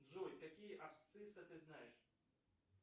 джой какие абсциссы ты знаешь